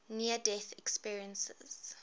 near death experiences